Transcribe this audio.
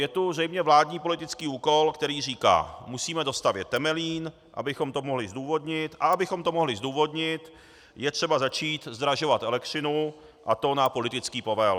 Je tu zřejmě vládní politický úkol, který říká: Musíme dostavět Temelín, abychom to mohli zdůvodnit, a abychom to mohli zdůvodnit, je třeba začít zdražovat elektřinu, a to na politický povel.